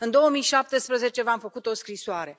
În 2017 v am făcut o scrisoare.